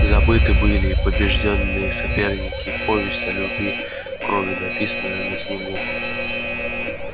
забыты были и побеждённые соперники и повесть о любви кровью написанная на снегу